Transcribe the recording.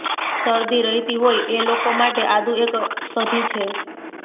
શરદી રહેતી હોય એ લોકો માટે આદુ એક ષધી છે